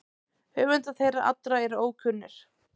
Höfundar þeirra allra eru ókunnir.